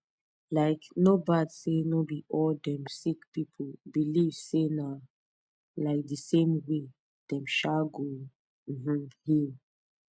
likee no bad say no be all dem sick pipu believe say na um the same way dem um go um heal